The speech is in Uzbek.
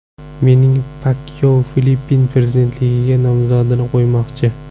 Menni Pakyao Filippin prezidentligiga nomzodini qo‘ymoqchi.